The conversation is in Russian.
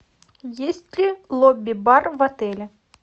есть ли лобби бар в отеле